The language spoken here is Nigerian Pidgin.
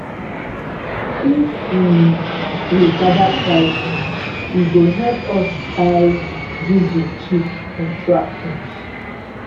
if um we gather price eh e go help us buy diesel cheap for tractors.